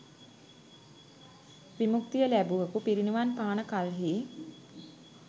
විමුක්තිය ලැබුවකු පිරිනිවන් පාන කල්හි